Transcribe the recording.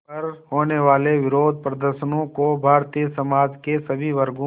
पर होने वाले विरोधप्रदर्शनों को भारतीय समाज के सभी वर्गों